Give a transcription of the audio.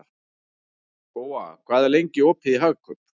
Góa, hvað er lengi opið í Hagkaup?